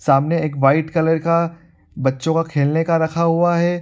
सामने एक white colour का बच्चों का खेलने का रखा हुआ है।